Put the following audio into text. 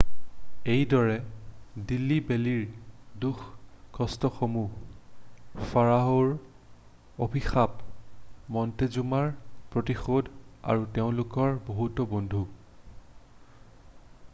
এইদৰে দিল্লী বেল্লীৰ দুখ-কষ্টসমূহ ফাৰাঅ'হৰ অভিশাপ মন্টেজুমাৰ প্ৰতিশোধ আৰু তেওঁলোকৰ বহুতো বন্ধু৷